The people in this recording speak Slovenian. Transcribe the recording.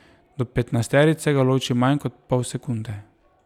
Do petnajsterice ga loči manj kot pol sekunde.